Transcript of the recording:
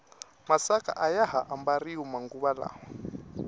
masaka ayaha ambariwa manguva lawa